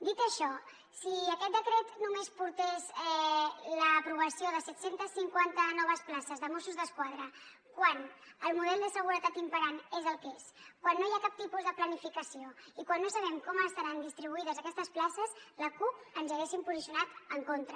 dit això si aquest decret només portés l’aprovació de set cents i cinquanta noves places de mossos d’esquadra quan el model de seguretat imperant és el que és quan no hi ha cap tipus de planificació i quan no sabem com estaran distribuïdes aquestes places la cup ens hi haguéssim posicionat en contra